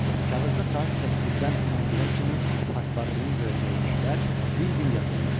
Kağızda saat 8-dən 11-ə kimi Paspurtunun görəcəyi işlər bir-bir yazılmışdı.